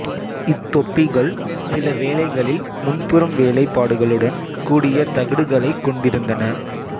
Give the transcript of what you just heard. இத் தொப்பிகள் சில வேளைகளில் முன்புறம் வேலைப்பாடுகளுடன் கூடிய தகடுகளைக் கொண்டிருந்தன